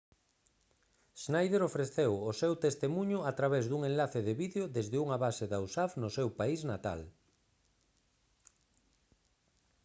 schneider ofreceu o seu testemuño a través dun enlace de vídeo desde unha base da usaf no seu país natal